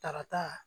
Takata